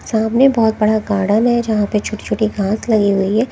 सामने बहुत बड़ा गार्डन है जहां पे छोटी छोटी गांस लगी हुई है।